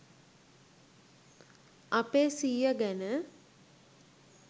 අපේ සීය ගැන